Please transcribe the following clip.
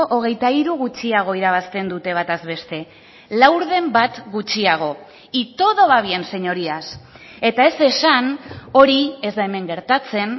hogeita hiru gutxiago irabazten dute bataz beste laurden bat gutxiago y todo va bien señorías eta ez esan hori ez da hemen gertatzen